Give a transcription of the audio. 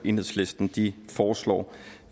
enhedslisten foreslår